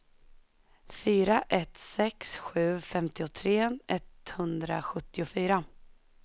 fyra ett sex sju femtiotre etthundrasjuttiofyra